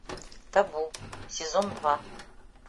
табу сезон два